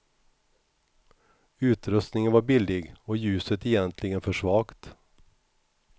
Utrustningen var billig och ljuset egentligen för svagt.